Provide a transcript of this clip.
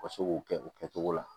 U ka se k'o kɛ o kɛcogo la